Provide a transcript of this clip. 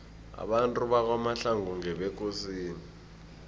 abantu bakwamahlangu ngebekosini